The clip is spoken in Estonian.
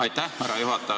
Aitäh, härra juhataja!